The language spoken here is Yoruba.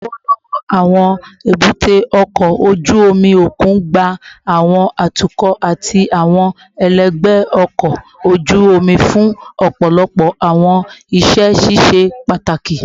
Lọwọlọwọ, awọn ebute oko oju omi okun gba awọn atukọ ati awọn ẹlẹgbẹ ọkọ oju omi fun ọpọlọpọ awọn iṣẹ ṣiṣe pataki